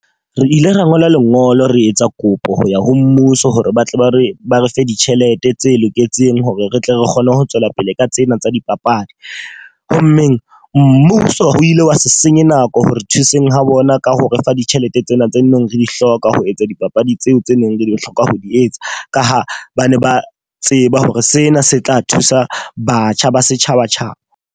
Re ile ra ngola lengolo re etsa kopo ho ya ho mmuso hore ba tle ba re ba re fe ditjhelete tse loketseng hore re tle re kgone ho tswela pele ka tsena tsa dipapadi. Ho mmeng mmuso ho ile wa se senye nako re thuseng ho bona ka ho refa ditjhelete tsena tse neng re di hloka ho etsa dipapadi tseo tse neng re di hloka ho di etsa. Ka ha ba ne ba tseba hore sena se tla thusa batjha ba setjhaba.